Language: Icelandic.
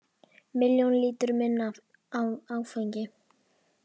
Milljón lítrum minna af áfengi